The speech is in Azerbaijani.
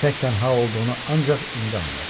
Tək-tənha olduğunu ancaq indi anladı.